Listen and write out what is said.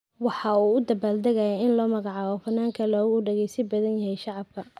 Waxa uu u dabaaldegayay in loo magacaabay fanaanka loogu dhageysiga badan yahay shabakada 'Apple music'.